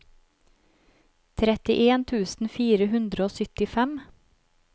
trettien tusen fire hundre og syttifem